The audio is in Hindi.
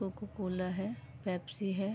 कोको -कोला है पेप्सी हैं।